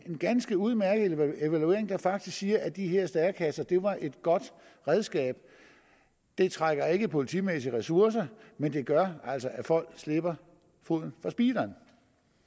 en ganske udmærket evaluering der faktisk siger at de her stærekasser var et godt redskab det trækker ikke politimæssige ressourcer men det gør altså at folk slipper foden fra speederen